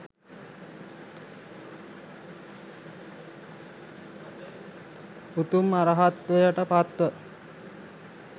උතුම් අරහත්වයට පත්ව